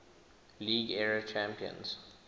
league era champions